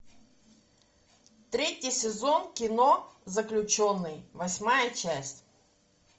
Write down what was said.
третий сезон кино заключенный восьмая часть